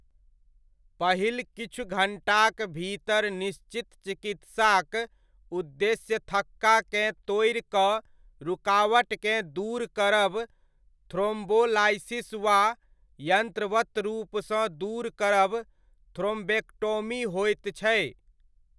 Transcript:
पहिल किछु घण्टाक भीतर निश्चित चिकित्साक उद्देश्य थक्काकेँ तोड़ि कऽ रुकावटकेँ दूर करब थ्रोम्बोलाइसिस वा यंत्रवत रूपसँ दूर करब थ्रोम्बेक्टोमी होइत छै।